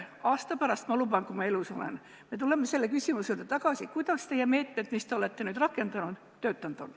Ma luban, et aasta pärast, kui ma elus olen, tuleme selle küsimuse juurde tagasi ja vaatame, kuidas teie meetmed, mida te olete nüüd rakendanud, toiminud on.